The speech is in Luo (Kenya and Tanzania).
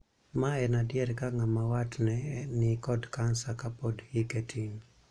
Ma en adier ka ng'ama wat ne ni kod kansa kapod hike tin.